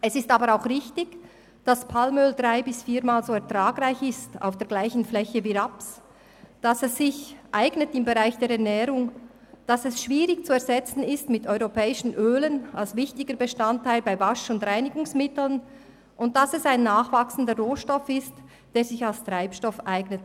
Es ist aber auch richtig, dass Palmöl auf der gleichen Fläche drei- bis viermal so ertragreich ist wie Raps, dass es sich im Bereich der Ernährung eignet, dass es als wichtiger Bestandteil von Wasch- und Reinigungsmitteln schwierig durch europäische Öle zu ersetzen ist, und dass es ein nachwachsender Rohstoff ist, der sich für die Herstellung von Treibstoff eignet.